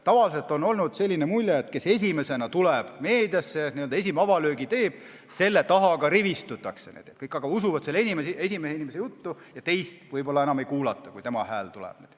Tavaliselt on jäänud mulje, et kes esimesena tuleb meediasse, n-ö avalöögi teeb, selle taha ka rivistutakse, kõik usuvad selle inimese juttu ja teist võib-olla enam ei kuulata.